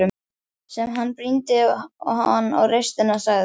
Síðan brýndi hann raustina og sagði